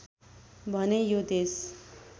भने यो देश